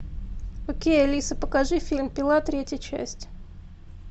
окей алиса покажи фильм пила третья часть